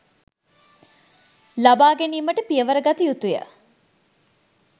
ලබා ගැනීමට පියවර ගත යුතුය